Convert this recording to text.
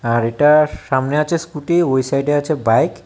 আর এটার সামনে আছে স্কুটি ওই সাইডে আছে বাইক ।